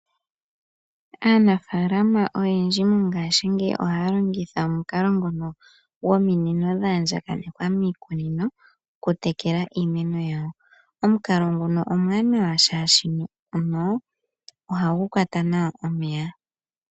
Aanafaalama oyendji mongaashingeyi ohaya longitha omukalo ngono gwominino dhaandjakanekwa miikunino oku tekela iimeno yawo. Omukalo nguno omuwanawa shaashino ohagu kwata nawa omeya.